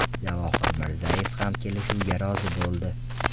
Javohir Mirzayev ham kelishuvga rozi bo‘ldi.